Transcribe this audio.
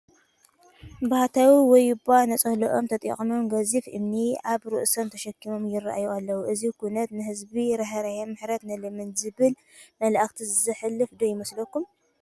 ባህታዊ ወይባ ነፀልኦም ተዓጢቖም፣ ገዚፍ እምኒ ኣብ ርእሶም ተሸኪሞም ይርአዩ ኣለዉ፡፡ እዚ ኩነት ንህዝቢ ዘራህርህን ምሕረት ንለምን ዝብልን መልእኽቲ ዘሕልፍ ዶ ይመስል?